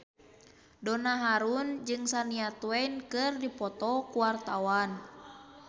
Donna Harun jeung Shania Twain keur dipoto ku wartawan